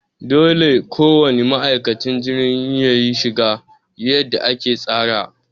Dole ko wane ma'aikacin filin jirgi yayi shiga yadda aka tsara.